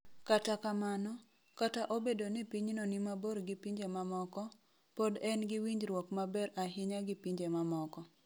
Kata kamano, kata obedo ni pinyno ni mabor gi pinje mamoko, pod en gi winjruok maber ahinya gi pinje mamoko.